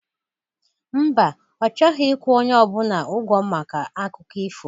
Mba, ọ chọghọ ịkwụ onye ọbụla ịgwọ maka akụkọ ifo